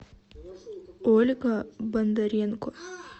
ольга бондаренко